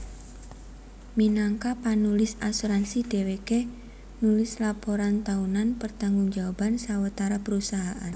Minangka panulis asuransi dhèwèké nulis laporan taunan pertanggung jawaban sawetara perusahaan